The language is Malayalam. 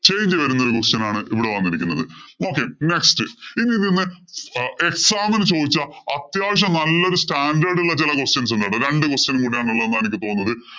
change വരുന്ന question ആണ് ഇവിടെ വന്നിരിക്കുന്നത്. Okay, next ഇനി ഇതീന്ന് exam ഇന് ചോദിച്ച അത്യാവശ്യം നല്ല ഒരു standard ഉള്ള ചെല questions ഉണ്ട്. രണ്ടു question കൂടെ ഉള്ളെ എന്നാണ് എനിക്ക് തോന്നുന്നത്. Change വരുന്ന question ആണ് ഇവിടെ വന്നിരിക്കുന്നത്. Okay, next